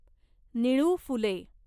Nilu Phule